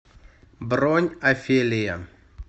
бронь офелия